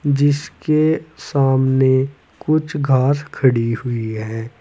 जिसके सामने कुछ कार्स खड़ी हुई है।